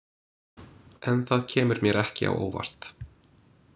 En það kemur mér ekki á óvart.